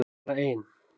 Bara ein!